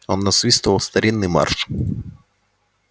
он насвистывал старинный марш